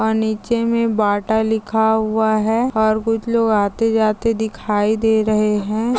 और नीचे मे बाटा लिखा हुआ है और कुछ लोग आते जाते दिखाई दे रहे है।